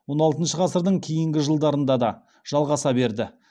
он алтыншы ғасырдың кейінгі жылдарында да жалғаса берді